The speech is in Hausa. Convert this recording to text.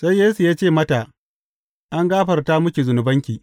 Sai Yesu ya ce mata, An gafarta miki zunubanki.